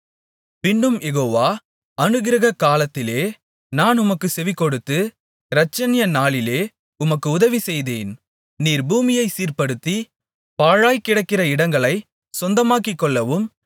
பின்னும் யெகோவா அனுக்கிரகக் காலத்திலே நான் உமக்குச் செவிகொடுத்து இரட்சணிய நாளிலே உமக்கு உதவி செய்தேன் நீர் பூமியைச் சீர்ப்படுத்தி பாழாய்க்கிடக்கிற இடங்களைச் சொந்தமாக்கிக்கொள்ளவும்